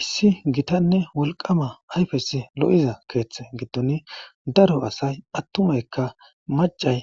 Issi gitanne wolqama ayfes lo'iza keeththe gittoni daro asay pattumeykka macay